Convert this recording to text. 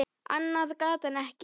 Annað gat hann ekki.